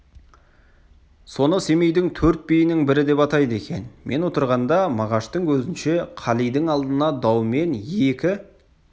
соны семейдің төрт биінің бірі деп атайды екен мен отырғанда мағаштың көзінше қалидің алдына даумен екі